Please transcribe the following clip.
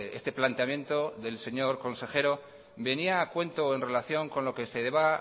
este planteamiento del señor consejero venía a cuento en relación con lo que se